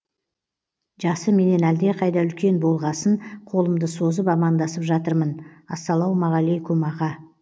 жасы менен әлдеқайда үлкен болғасын қолымды созып амандасып жатырмын ассалаумағалейкүм аға